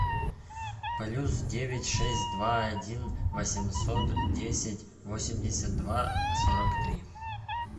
плюс девять шесть два один восемьсот десять восемьдесят два сорок три